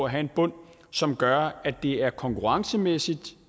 at have en bund som gør at det er konkurrencemæssigt